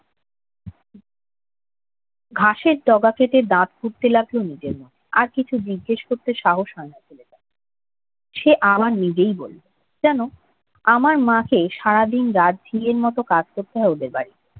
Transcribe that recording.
ঘাসের ডগা কেটে দাঁত খুঁটতে লাগল নিজের মনে। আর কিছু জিজ্ঞেস করতে সাহস হয় না ছেলেটাকে। সে আবার নিজেই বলল, জান আমার মাকে সারা দিন-রাত ঝিঁয়ের কাজ করতে হয় ওদের বাড়িতে।